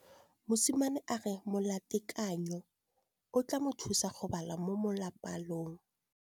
Mosimane a re molatekanyô o tla mo thusa go bala mo molapalong.